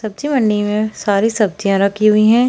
सब्जी मंडी में सारी सब्जियाँ रखी हुई हैं।